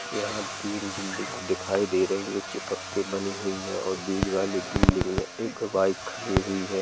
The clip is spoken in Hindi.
यहां तीन बिल्डिंग दिखाई दे रही है चिपक के बनी हुई है और बीच वाली बिल्डिंग में एक बाइक खड़ी हुई है।